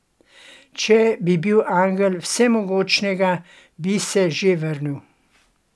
Če bi bil angel Vsemogočnega, bi se že vrnil.